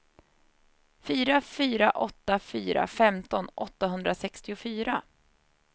fyra fyra åtta fyra femton åttahundrasextiofyra